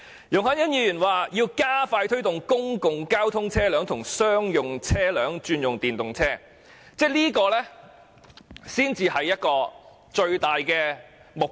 容海恩議員建議"加快推動公共交通車輛及商用車輛轉用電動車"，我認為這才是最大目標。